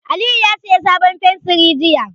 Aliyu ya sayi sabon fensiri jiya.